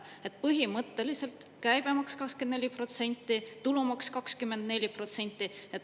Nii et põhimõtteliselt käibemaks 24%, tulumaks 24%.